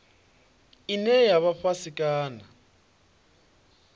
ine ya vha fhasi kana